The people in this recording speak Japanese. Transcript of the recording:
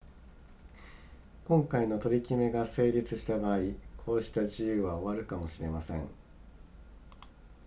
今回の取り決めが成立した場合こうした自由は終わるかもしれません